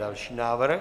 Další návrh.